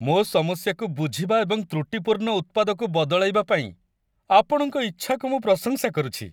ମୋ ସମସ୍ୟାକୁ ବୁଝିବା ଏବଂ ତ୍ରୁଟିପୂର୍ଣ୍ଣ ଉତ୍ପାଦକୁ ବଦଳାଇବା ପାଇଁ ଆପଣଙ୍କ ଇଚ୍ଛାକୁ ମୁଁ ପ୍ରଶଂସା କରୁଛି।